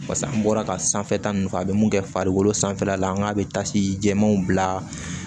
Pase an bɔra ka sanfɛ ta nunnu fɛ a bɛ mun kɛ farikolo sanfɛla la an k'a bɛ tasuma jɛmanw bila